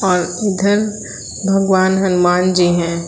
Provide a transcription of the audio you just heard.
और इधर भगवान हनुमान जी हैं।